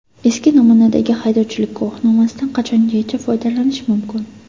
Eski namunadagi haydovchilik guvohnomasidan qachongacha foydalanish mumkin?.